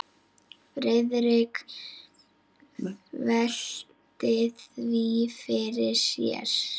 Friðrik velti því fyrir sér.